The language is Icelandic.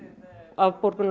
afborgun